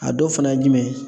A dɔ fana ye jumɛn ye ?